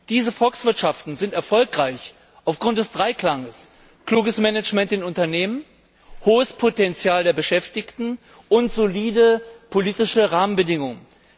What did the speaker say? Diese Volkswirtschaften sind erfolgreich aufgrund des Dreiklanges kluges Management in Unternehmen, hohes Potenzial der Beschäftigten und solide politische Rahmenbedingungen.